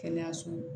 Kɛnɛyaso